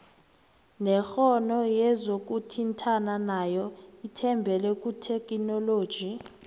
nekoro yezokuthintana nayo ithembele kuthekhinoloji